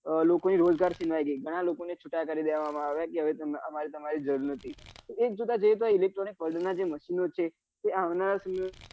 લોકો ને રોજગાર છીનવાઈ ગઈ ઘણાં લોકો ને છુટા કરી દેવા માં આવ્યા કે હવે અમારે તમારી જરૂર નથી એક જોતા જઈએ તો આં electronic version નાં જે machine ઓ છે એ આવનારા સમય માં